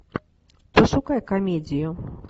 пошукай комедию